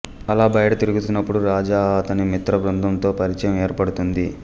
అలా బయట తిరుగుతున్నపుడు రాజా అతని మిత్రబృందం తో పరిచయం ఏర్పడుతుంది